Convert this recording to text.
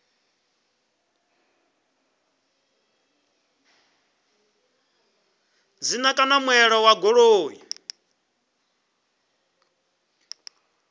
dzina kana muṋe wa goloi